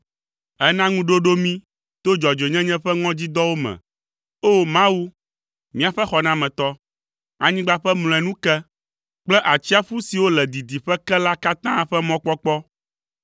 Èna ŋuɖoɖo mí to dzɔdzɔenyenye ƒe ŋɔdzidɔwo me, O, Mawu míaƒe xɔnametɔ, anyigba ƒe mlɔenu ke, kple atsiaƒu siwo le didiƒe ke la katã ƒe mɔkpɔkpɔ.